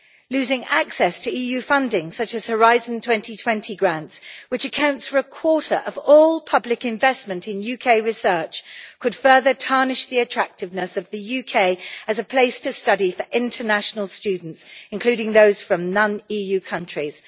Losing access to EU funding, such as Horizon 2020 grants, which accounts for a quarter of all public investment in UK research could further tarnish the attractiveness of the UK as a place to study for international students, including those from non EU countries.